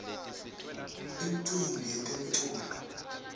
imiumbi yetemculo